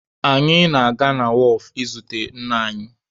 Anyị ga-aga na wọọfụ izute nna anyị.